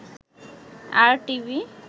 আর TV